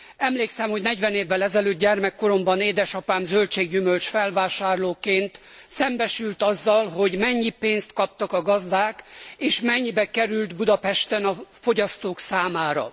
Emlékszem, hogy 40 évvel ezelőtt, gyermekkoromban édesapám zöldség gyümölcs felvásárlóként szembesült azzal, hogy mennyi pénzt kaptak a gazdák, és mennyibe került Budapesten a fogyasztók számára.